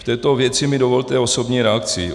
K této věci mi dovolte osobní reakci.